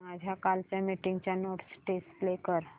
माझ्या कालच्या मीटिंगच्या नोट्स डिस्प्ले कर